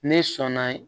Ne sɔnna